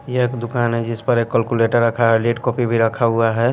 ये एक दुकान है जिस पर एक कैलकुलेटर रखा है लीड कॉपी भी रखा हुआ है।